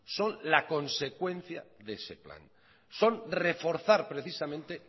son la consecuencia de ese plan son reforzar precisamente